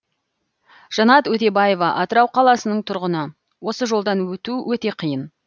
жанат өтебаева атырау қаласының тұрғыны осы жолдан өту өте қиын